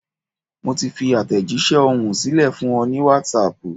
Mo ti fi àtẹ̀jísẹ́ ohùn sílẹ̀ fún ọ ní Wásaàpù